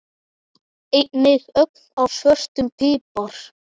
Einnig ögn af svörtum pipar.